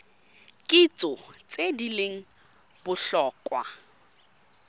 kitso tse di leng botlhokwa